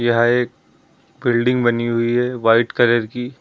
यह एक बिल्डिंग बनी हुई है व्हाइट कलर की।